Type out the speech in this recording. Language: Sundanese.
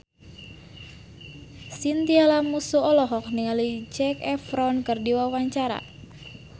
Chintya Lamusu olohok ningali Zac Efron keur diwawancara